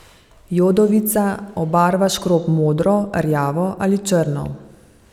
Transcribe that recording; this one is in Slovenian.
Jodovica obarva škrob modro, rjavo ali črno.